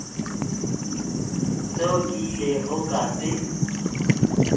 seo ke ilego ka se